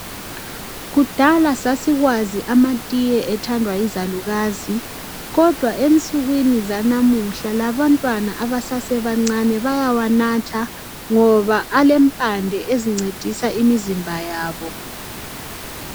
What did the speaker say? Kudala sasikwazi amatiye ethandwa yizalukazi kodwa ensukwini zanamuhla labantwana abasebancane bayawanatha ngoba alempande ezincedisa imizimba yabo